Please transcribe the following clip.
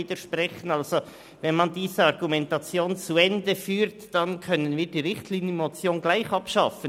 Führt man diese Argumentation zu Ende, können wir die Richtlinienmotion gleich abschaffen.